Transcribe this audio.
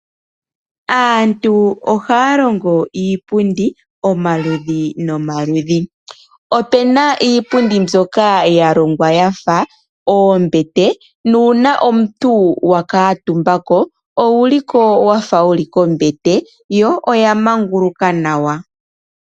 Aantu ohaya longo iipundi omaludhi nomaludhi. Opuna iipundi mbyoka yalongwa yafa oombete nuuna omuntu wakuutumba ko owuli ko wafa wuli kombete yo oyamanguluka nawa.